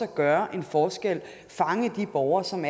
gøre en forskel fange de borgere som